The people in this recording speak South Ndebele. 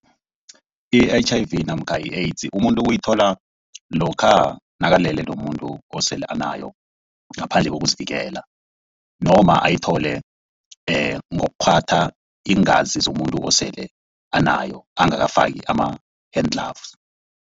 I-H_I_V namkha i-AIDS umuntu uyithola lokha nakalele nomuntu osele anayo ngaphandle kokuzivikela noma ayithole ngokukghwa iingazi zomuntu osele anayo angakafaki ama-hand gloves.